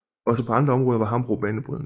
Også på andre områder var Hambro banebrydende